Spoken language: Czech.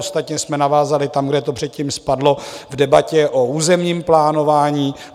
Ostatně jsme navázali tam, kde to předtím spadlo v debatě o územním plánování.